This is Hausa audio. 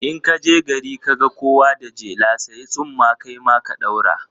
In ka je gari ka ga kowa da jela, sayi tsumma kai ma ka ɗaura.